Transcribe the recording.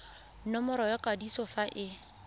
nomoro ya kwadiso fa e